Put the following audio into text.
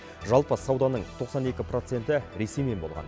жалпы сауданың тоқсан екі проценті ресеймен болған